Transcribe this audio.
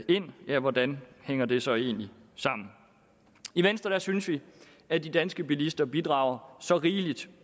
ind ja hvordan hænger det så egentlig sammen i venstre synes vi at de danske bilister bidrager så rigeligt